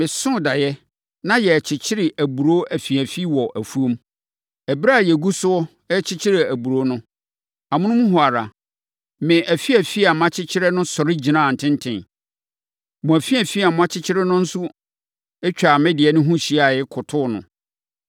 Mesoo daeɛ, na yɛrekyekyere aburoo afiafi wɔ afuom. Ɛberɛ a yɛgu so rekyekyere aburoo no, amonom hɔ ara, me afiafi a makyekyere no sɔre gyinaa ntenten. Mo afiafi a moakyekyere no nso twaa me deɛ no ho hyiaeɛ, kotoo no.”